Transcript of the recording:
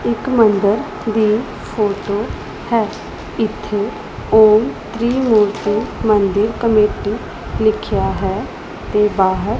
ਇੱਕ ਮੰਦਰ ਦੀ ਫ਼ੋਟੋ ਹੈ ਇੱਥੇ ਓਮ ਤ੍ਰਿਮੂਰਤੀ ਮੰਦਿਰ ਕਮੇਟੀ ਲਿੱਖੇਆ ਹੈ ਤੇ ਬਾਹਰ--